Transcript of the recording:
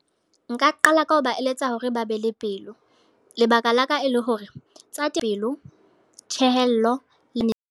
Nka qala ka ho ba eletsa hore ba be le pelo. Lebaka la ka e le hore, tsa pelo, thehello le